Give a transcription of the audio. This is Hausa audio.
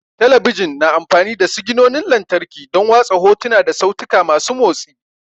Talabijin na amfani da siginonin lantarki don watsa hotuna da sautika masu motsi.